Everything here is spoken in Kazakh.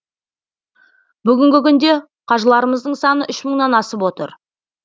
бүгінгі күнде қажыларымыздың саны үш мыңнан асып отыр